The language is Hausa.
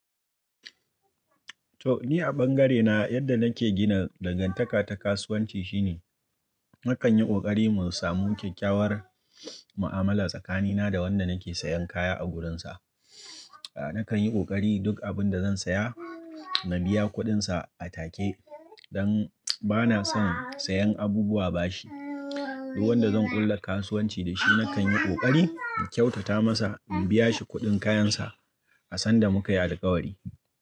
To! Ni a bangarena yadda nake gina dangantaka ta kasuwanci shine nakan yi ƙoƙari mu samu kyakkyawar mu'amala tsakanina da wanda nake sayan kaya a wurinsa. Nakan yi ƙoƙari duk abin da zan saya na biya kuɗinsa a take don bana son sayan abubuwa bashi. Duk wanda zan ƙulla kasuwanci da shi nakan yi ƙoƙari in kyautata masa in biya shi kuɗin kayansa a san da muka yi alƙawari.